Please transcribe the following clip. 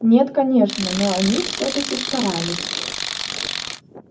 нет конечно но они всё-таки старались